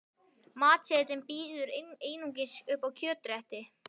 Matseðillinn býður einungis upp á kjötrétti.